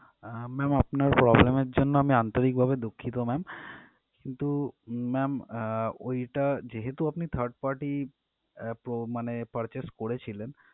আহ ma'am আপনার problem এর জন্য আমি আন্তরিক ভাবে দুঃখিত ma'am কিন্তু ma'am আহ ওইটা যেহেতু আপনি third party pro~ মানে purchase করেছিলেন